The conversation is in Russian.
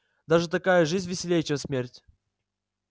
даже такая жизнь веселей чем смерть